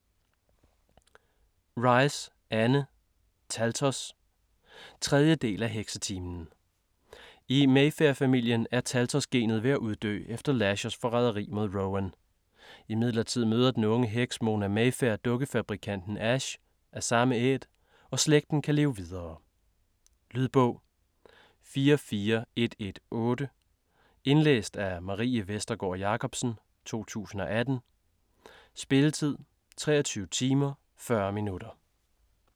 Rice, Anne: Taltos 3. del af Heksetimen. I Mayfair-familien er taltos-genet ved at uddø efter Lashers forræderi mod Rowan. Imidlertid møder den unge heks Mona Mayfair dukkefabrikanten Ash - af samme æt - og slægten kan leve videre. Lydbog 44118 Indlæst af Marie Vestergård Jacobsen, 2018. Spilletid: 23 timer, 40 minutter.